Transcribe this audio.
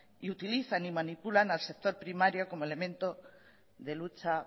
utilizan y manipulan al sector primario como elemento de lucha